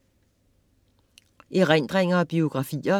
Erindringer og biografier